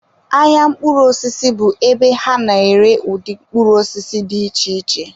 Ahịa mkpụrụ osisi bụ ebe ha na-ere ụdị mkpụrụ osisi dị iche iche.